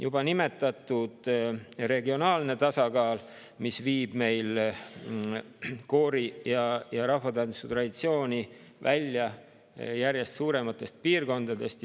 Juba on nimetatud regionaalset, mis viib koori ja rahvatantsutraditsiooni välja järjest suurematest piirkondadest.